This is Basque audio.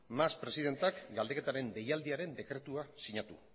mas presidenteak galdeketaren deialdiaren dekretua sinatu